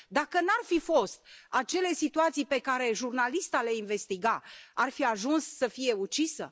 Dacă nu ar fi fost acele situații pe care jurnalista le investiga, ar fi ajuns să fie ucisă?